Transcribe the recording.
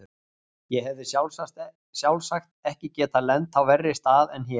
Ég hefði sjálfsagt ekki getað lent á verri stað en hér.